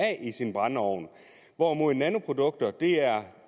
i sin brændeovn hvorimod nanoprodukter